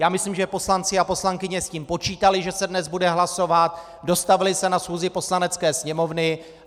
Já myslím, že poslanci a poslankyně s tím počítali, že se dnes bude hlasovat, dostavili se na schůzi Poslanecké sněmovny.